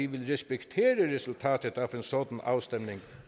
vil respektere resultatet af en sådan afstemning